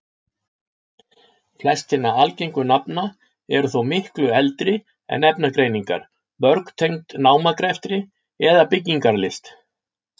Flest hinna algengu nafna eru þó miklu eldri en efnagreiningar, mörg tengd námagreftri eða byggingarlist.